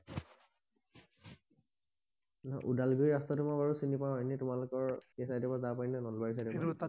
ওদালগুৰি ৰাস্তাটো বাৰু মই চিনি পাও এনেই তোমালোকৰ সেই চাইদৰ পৰা যাব পাৰি নাই ওদালগুৰি চাইদৰ পৰা